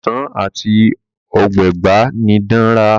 Ọsán ati ogbagba ni Dan rà.